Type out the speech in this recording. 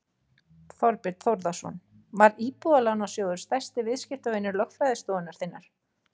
Þorbjörn Þórðarson: Var Íbúðalánasjóður stærsti viðskiptavinur lögfræðistofunnar þinnar?